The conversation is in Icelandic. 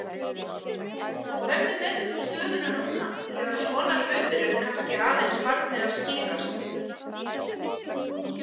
Hvernig metur þú stöðuna núna þegar svona hlutir eru kannski aðeins farnir að skýrast?